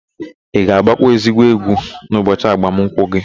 Ị ga-agbakwa ezigbo egwu n'ụbọchị agbamụnkwụ gị?